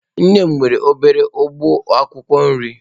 Nne m nwere obere ugbo akwukwo nri.